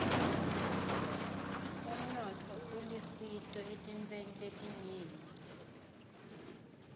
umnotfo ulisito etintfweni letinyenti